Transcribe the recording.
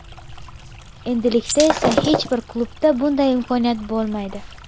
Endilikda esa hech bir klubda bunday imkoniyat bo‘lmaydi.